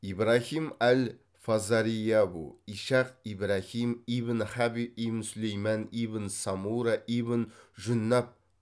ибрахим әл фазариәбу ишах ибрахим ибн хабиб ибн сүлеймен ибн самура ибн жүннаб